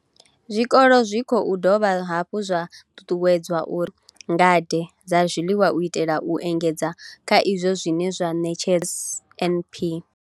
Zwikolo zwi khou dovha hafhu zwa ṱuṱuwedzwa uri zwi ḓithomele ngade dza zwiḽiwa u itela u engedza kha izwo zwine zwa ṋetshedzwa nga NSNP.